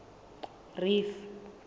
reef